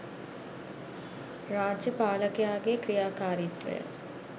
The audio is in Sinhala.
රාජ්‍ය පාලකයාගේ ක්‍රියාකාරිත්වය